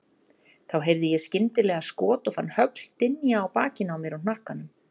Þá heyrði ég skyndilega skot og fann högl dynja á bakinu á mér og hnakkanum.